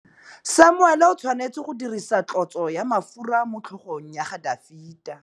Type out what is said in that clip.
Samuele o tshwanetse go dirisa tlotsô ya mafura motlhôgong ya Dafita.